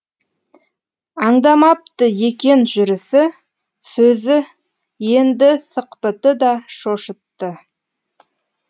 аңдамапты екен жүрісі сөзі енді сықпыты да шошытты